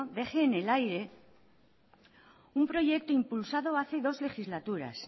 deje en el aire un proyecto impulsado hace dos legislaturas